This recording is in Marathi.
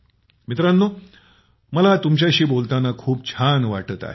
मोदी जीः मला तुमच्याशी चर्चा करून खूप छान वाटत आहे